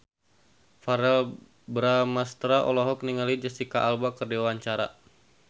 Verrell Bramastra olohok ningali Jesicca Alba keur diwawancara